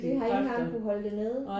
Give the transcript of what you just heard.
Det har ikke engang kunne holde det nede?